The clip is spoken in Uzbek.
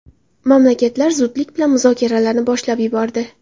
Mamlakatlar zudlik bilan muzokaralarni boshlab yubordi.